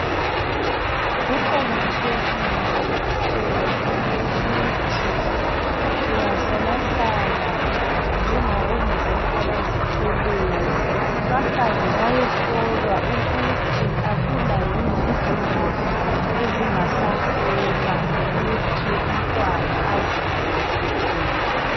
Kuqakathekile kakhulu ukuthi ungahlalahlala njengabo mama abazithweleyo bahambe bayehlolwa ukuthi akula yini izingozi ezingahlasela ukuthi umntwana azalwe ephephile